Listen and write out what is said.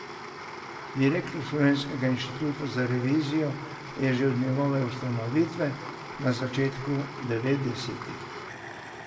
Direktor Slovenskega inštituta za revizijo je že od njegove ustanovitve na začetku devetdesetih.